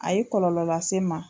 A ye kɔlɔlɔ lase n ma